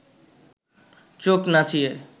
চোখ নাচিয়ে